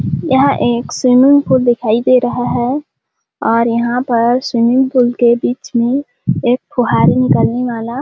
यह एक swimming pool दिखाई दे रहा है और यहाँ पर स्विमिंग पूल के बीच में एक फुहारी निकलने वाला --